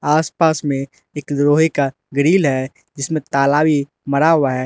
आसपास में एक लोहे का ग्रिल है जिसमें ताला भी मरा हुआ है।